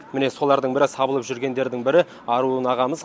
міне солардың бірі сабылып жүргендердің бірі аруын ағамыз